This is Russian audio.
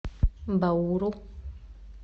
бауру